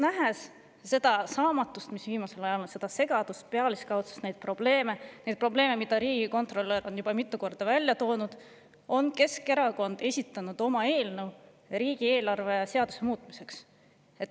Nähes seda saamatust, mis viimasel ajal on, seda segadust, pealiskaudsust, neid probleeme, millele riigikontrolör on juba mitu korda viidanud, on Keskerakond esitanud oma eelnõu riigieelarve seaduse muutmiseks.